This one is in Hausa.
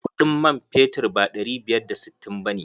Kuɗin man fetur ba ɗari biyar da sittin ba ne.